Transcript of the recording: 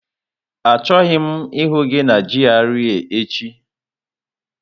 Achọghị m ịhụ gị na GRA echi!